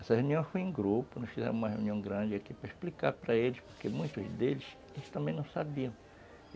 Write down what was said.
Essa reunião foi em grupo, nós fizemos uma reunião grande aqui para explicar para eles, porque muitos deles também não sabiam.